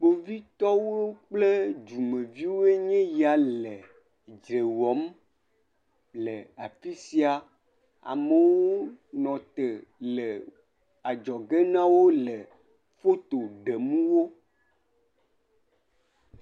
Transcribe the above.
kpovitɔwo kple dumeviwoe nye ya le dzre wɔm le afisia amowo nɔ te le adzɔge nawo le foto ɖem wo